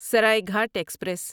Saraighat express